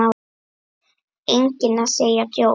Enginn að segja djók?